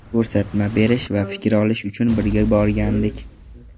Ko‘rsatma berish va fikr olish uchun birga borgandik.